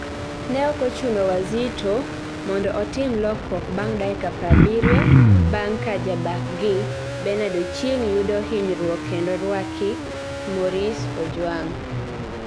ne okchuno Wazito mondo otim lokruok bang dakika prabiriyo bang ka jabakgi Benard Ochieng yudo hinyruok kendo rwaki Maurice Ojwang